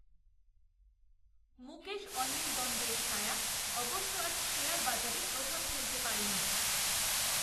মুকেশঅনিল দ্বন্দের ছায়া, অবশ্য আজ শেয়ার বাজারে প্রভাব ফেলতে পারেনি